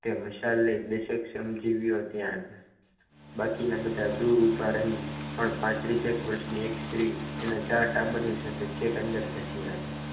તે મસાલા લઇ શ્રમજીવીઓ ત્યાં બાકીના બધા દૂર ઊભા રહી પણ પાંત્રીસ એક વર્ષની એક સ્ત્રી એના ચાર ટાબરીયા સાથે છેક અંદર ધસી આવી.